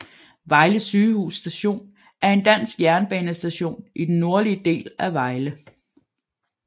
Vejle Sygehus Station er en dansk jernbanestation i den nordlige del af Vejle